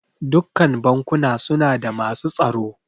Dukkan bankuna suna da masu tsaro.